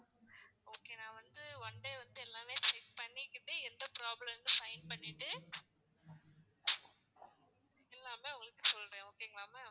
okay நான் வந்து one day வந்து எல்லாமே check பண்ணிக்கிட்டு எந்த problem ன்னு sign பண்ணிட்டு எல்லாமே உங்களுக்கு சொல்றேன் okay ங்களா ma'am